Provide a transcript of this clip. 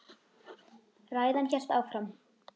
Ræðan hélt áfram